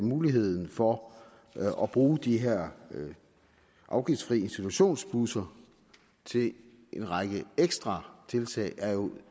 muligheden for at bruge de her afgiftsfri institutionsbusser til en række ekstra tiltag